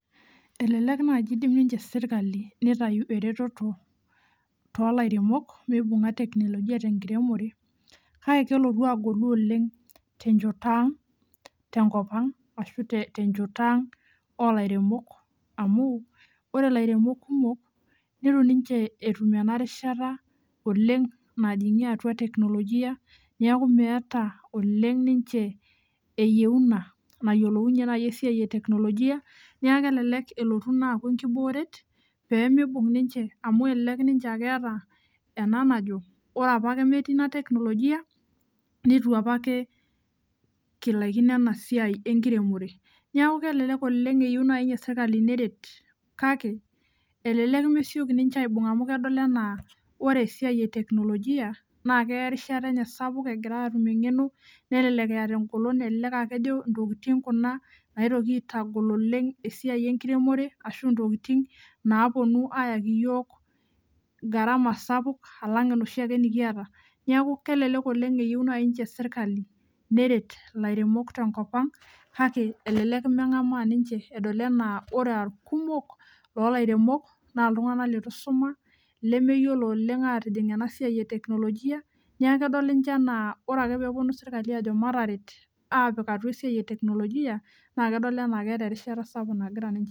Elelek naji indim ninche sirkali , nitayu ereteto tolairemok meibunga teknolojia tenkiremore kake kelotu agolu oleng tenchoto ang tenkop ang ashu tenchoto ang olairemok amu ore ilairemok kumok , nitu ninche etum ena rishata oleng najingie atua teknolojia , niaku meeta oleng ninche eyieuna nayiolounyie naji esiai eteknolojia, nia kelelek elotu ina aaku enkibooret pemibung ninche amu elelek ninche akeeta ena najo , ore apake metii ina teknolojia , nitu apake kilaikino enasiai enkiremore . Niaku kelelek oleng eyieu nai ninche sirkali neret kake elelek mesioki ninche aibung amu kedol anaa ore esiai eteknolojia naa keya eriashata enye sapuk egira atum engeno , nelelek eeta engolon , elelek aa kejo ntokitin kuna naitoki aitagol oleng esiai enkiremore ashu ntokitin naponu ayaki iyiok garama sapuk alang enoshiake nikiata . Niaku kelelek oleng eyieu nai ninche sirkali neret ilairemok tenkopang kake elelek mengamaa ninche edol enaa ore a irkumok lolairemok naa iltungank leitu isuma lemeyiolo oleng atijing ena siai eteknolojia, nia kedol ninche anaa ore ake peponu sirkali ajo mataret apik atua esiai eteknolojia naa kedol anaa keeta erishata sapuk nagira ninche aiminie.